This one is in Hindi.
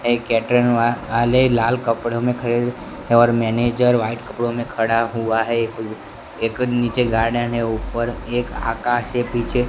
एक कैटरिंग वाला आले लाल कपड़ों में और मैनेजर व्हाइट कपड़ो में खड़ा हुआ है एक एक नीचे गार्डन है ऊपर एक आकाश है पीछे--